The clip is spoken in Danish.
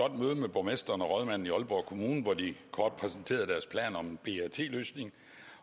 borgmesteren og rådmanden i aalborg kommune hvor de kort præsenterede deres plan om en brt løsning